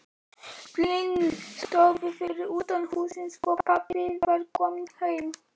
Bíllinn stóð fyrir utan húsið, svo pabbi var kominn heim.